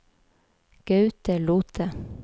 Gaute Lothe